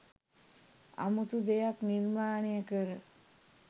අමුතු දෙයක් නිර්මාණය කර